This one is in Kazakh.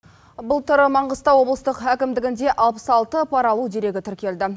былтыр маңғыстау облыстық әкімдігінде алпыс алты пара алу дерегі тіркелді